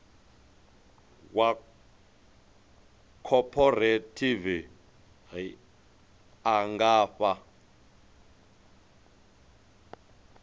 wa khophorethivi a nga fha